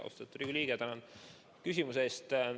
Austatud Riigikogu liige, tänan küsimuse eest!